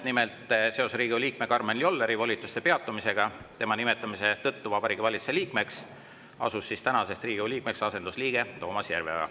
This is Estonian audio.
Nimelt, seoses Riigikogu liikme Karmen Jolleri volituste peatumisega tema nimetamise tõttu Vabariigi Valitsuse liikmeks asus tänasest Riigikogu liikmeks asendusliige Toomas Järveoja.